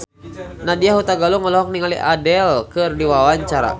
Nadya Hutagalung olohok ningali Adele keur diwawancara